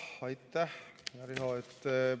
Aitäh, Riho!